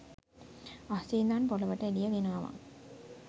අහසෙ ඉඳන් පොළොවට එළිය ගෙනාවා